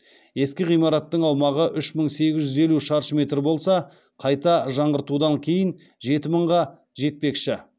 ескі ғимараттың аумағы үш мың сегіз жүз елу шаршы метр болса қайта жаңғыртудан кейін жеті мыңға жетпекші